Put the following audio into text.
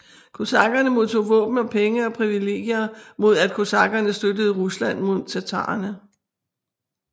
Kosakkerne modtog våben og penge og privilegier mod at kosakkerne støttede Rusland mod tatarerne